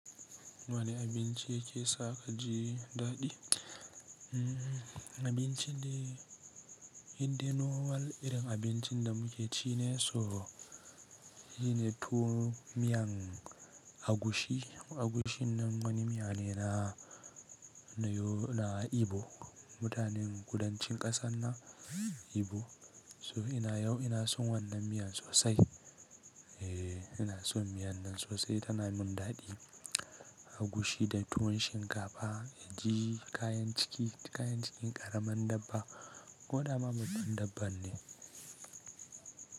Wane abinci yake saka ji daɗi? Abincin da idan na walle irin abincin da muke ci ne, so shi ne tuwo miyan agushi. Agushin nan wani miya ne na Ibo, mutanen kudancin ƙasar nan Ibo. So ina yau ina son wannan miyan sosai. Eee ina son miyan nan sosai tana min daɗi. Agushi da tuwon shinkafa da ji kayan ciki, kayan cikin ƙaramin dabba. Gwanda ma babban dabba ne.